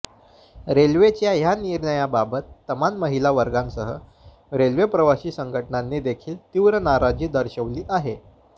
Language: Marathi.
रेल्वेच्या या निर्णयाबाबत तमाम महिला वर्गांसह रेल्वे प्रवासी संघटनांनी देखील तीव्र नाराजी दर्शवली आहे